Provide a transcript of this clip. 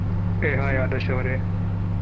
Hey hai Adarsh ಅವ್ರೆ.